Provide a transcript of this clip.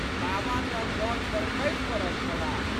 बाबा तऽ कल पर खसि पड़ल छलाह।